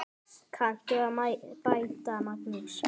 Kanntu að bæta, Magnús?